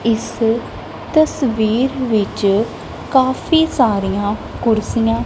ਇਸ ਤਸਵੀਰ ਵਿੱਚ ਕਾਫੀ ਸਾਰੀਆਂ ਕੁਰਸੀਆਂ--